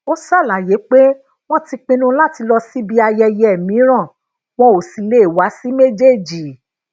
ó ṣàlàyé pé wọn ti pinnu láti lọ síbi ayeye mìíràn wọn ò sì lè wá sí méjèèjì